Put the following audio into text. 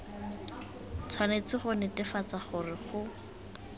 tshwanetse go netefatsa gore go